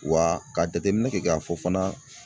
Wa ka jateminɛ kɛ k'a fɔ fana